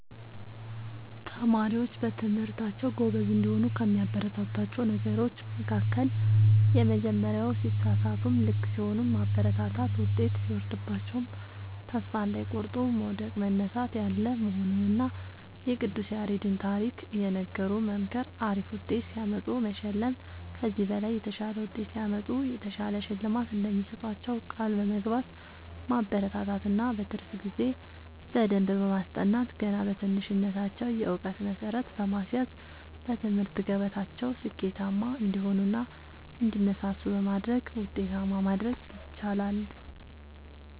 ተማሪዎች በትምህርታቸዉ ጎበዝ እንዲሆኑ ከሚያበረታቷቸዉ ነገሮች መካከል:- የመጀመሪያዉ ሲሳሳቱም ልክ ሲሆኑም ማበረታታት ዉጤት ሲወርድባቸዉም ተስፋ እንዳይቆርጡ መዉደቅ መነሳት ያለ መሆኑንና የቅዱስ ያሬድን ታሪክ እየነገሩ መምከር አሪፍ ዉጤት ሲያመጡ መሸለም ከዚህ በላይ የተሻለ ዉጤት ሲያመጡ የተሻለ ሽልማት እንደሚሰጧቸዉ ቃል በመግባት ማበረታታት እና በትርፍ ጊዜ በደንብ በማስጠናት ገና በትንሽነታቸዉ የእዉቀት መሠረት በማስያዝ በትምህርት ገበታቸዉ ስኬታማ እንዲሆኑ እና እንዲነሳሱ በማድረግ ዉጤታማ ማድረግ ይቻላል።